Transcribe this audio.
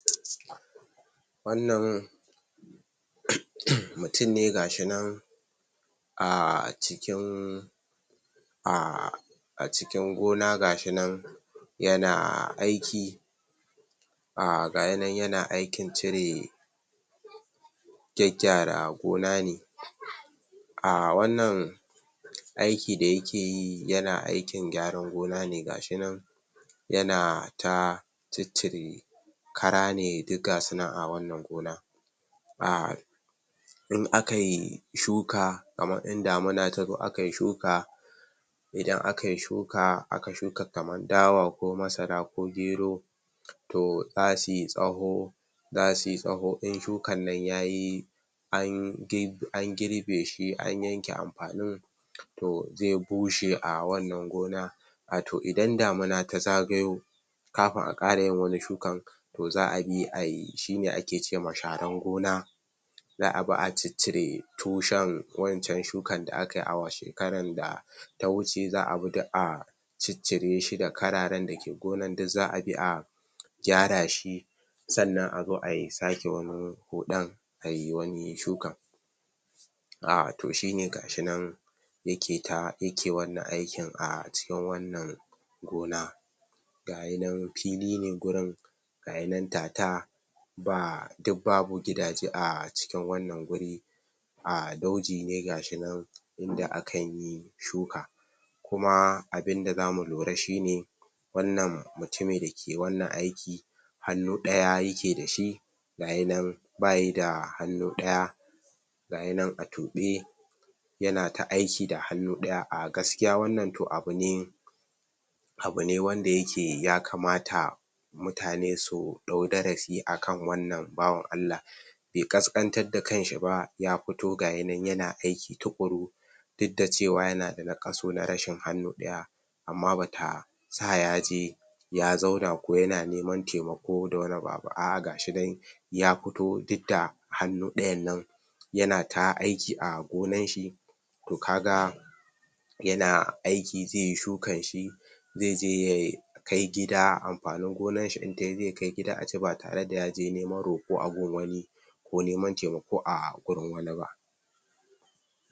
Wannan mutum ne gashinan um cikin um a cikin gona gashinan yana aiki um gayinan yana iki cire gyaggyara gona ne um wannan aiki da yake yi yana aikin gyaran gona ne gashinan yana ta ciccire kara ne duk gasu nan a wannan gona um in akayi shuka kaman inda damuna tazo akayi shuka idan aka yi shuka aka shuka kaman dawa ko masara ko gero to zasu yi tsawo zasu yi tsawo in shukan nan yayi an girbe shi an yanke ampanin to ze bushe a wannan gona wato idan damuna ta zagayo kapun a ƙara yin wani shukan to za bi a yi shine ake ce ma sharan gona za a bi a ciccire tushen wancan shukan da aka yi a shekaran da ta wuce za a bi duk a ciccire shi da kararen da ke gonan duk za a bi a gyara shi sannan a zo a sake wani huɗan ayi wani shukan um to shine gashinan yake ta yake wannan aikin a cikin wannan gona gayinan pili ne gurin gayinan tata ba duk babu gidaje a cikin wannan guri a dauji ne gashinan inda akan yi shuka kuma abinda zamu lura shine wannan mutumi da yake wannan aiki hannu ɗaya yake da shi gayinan bayi da hannu ɗaya gayinan a tuɓe yana ta aiki da hannu ɗaya um gaskiya wannan to abune abune wanda yake ya kamata mutane su ɗau darasi akan wannan bawan Allah be ƙasƙantar da kanshi ba ya pito gayinan yana aiki tuƙuru duk da cewa yana da naƙasu na rashin hannu ɗaya amma taba sa ya je ya zauna ko yana neman temako da wani a'a gashinan ya puto duk da hannu ɗayan nan yana ta aiki a gonan shi to ka ga yana aiki ze yi shukan shi ze je yai kai gida ampanin gonanshi in tayi zai kai gida a ci bare da ya je neman roƙo a gun wani ko neman temako a gurin wani ba.